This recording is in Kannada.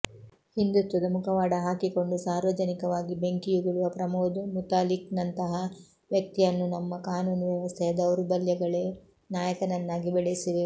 ಹಿಂದುತ್ವದ ಮುಖವಾಡ ಹಾಕಿಕೊಂಡು ಸಾರ್ವಜನಿಕವಾಗಿ ಬೆಂಕಿಯುಗುಳುವ ಪ್ರಮೋದ್ ಮುತಾಲಿಕ್ನಂತಹ ವ್ಯಕ್ತಿಯನ್ನು ನಮ್ಮ ಕಾನೂನು ವ್ಯವಸ್ಥೆಯ ದೌರ್ಬಲ್ಯಗಳೇ ನಾಯಕನನ್ನಾಗಿ ಬೆಳೆಸಿವೆ